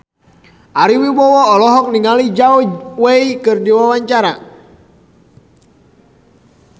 Ari Wibowo olohok ningali Zhao Wei keur diwawancara